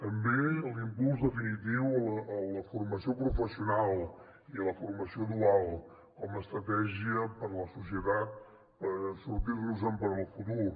també l’impuls definitiu a la formació professional i a la formació dual com a estratègia per a la societat per sortir nos en en el futur